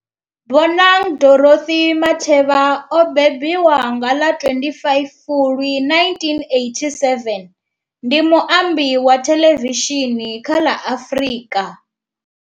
Bonang Dorothy Matheba o bebiwa nga ḽa 25 Fulwi 1987, ndi muambi wa thelevishini kha la Afrika.